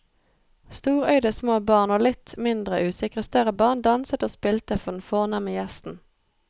Storøyde små barn og litt mindre usikre større barn danset og spilte for den fornemme gjesten.